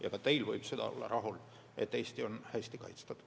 Ja ka teil võib süda olla rahul, et Eesti on hästi kaitstud.